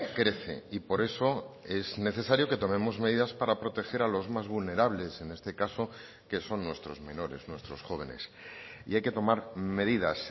crece y por eso es necesario que tomemos medidas para proteger a los más vulnerables en este caso que son nuestros menores nuestros jóvenes y hay que tomar medidas